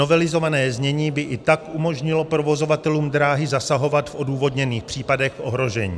Novelizované znění by i tak umožnilo provozovatelům dráhy zasahovat v odůvodněných případech ohrožení.